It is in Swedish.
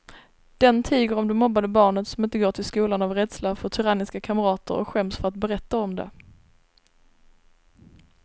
Den tiger om det mobbade barnet som inte går till skolan av rädsla för tyranniska kamrater och skäms för att berätta om det.